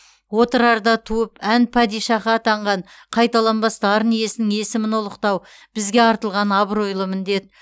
отырарда туып ән падишаһы атанған қайталанбас дарын иесінің есімін ұлықтау бізге артылған абыройлы міндет